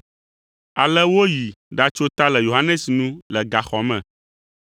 Ale woyi ɖatso ta le Yohanes nu le gaxɔ me,